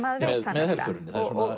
með helförinni